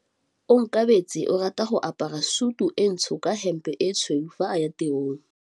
Onkabetse o rata go apara sutu e ntsho ka hempe e tshweu fa a ya tirong.